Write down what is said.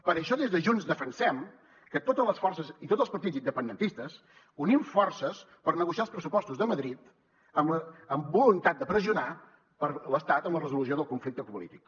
per això des de junts defensem que totes les forces i tots els partits independentistes unim forces per negociar els pressupostos de madrid amb la voluntat de pressionar l’estat en la resolució del conflicte polític